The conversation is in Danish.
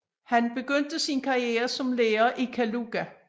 Han begyndte sin karriere som lærer i Kaluga